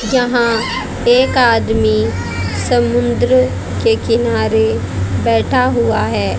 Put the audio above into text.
यहां एक आदमी समुंद्र के किनारे बैठा हुआ है।